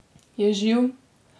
Je živ?